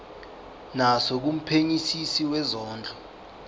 naso kumphenyisisi wezondlo